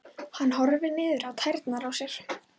Hann horfir niður á tærnar á sér.